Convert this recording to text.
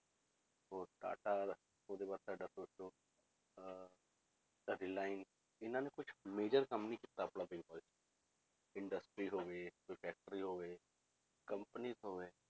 ਹੋਰ ਟਾਟਾ ਉਹਦੇ ਬਾਅਦ ਤੁਹਾਡਾ ਸੋਚ ਲਓ ਅਹ ਇਹਨਾਂ ਨੇ ਕੁੱਝ major ਕੰਮ ਨੀ ਕੀਤਾ industries ਹੋਵੇ, ਕੋਈ factories ਹੋਵੇ companies ਹੋਵੇ,